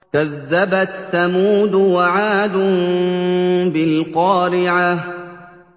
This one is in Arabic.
كَذَّبَتْ ثَمُودُ وَعَادٌ بِالْقَارِعَةِ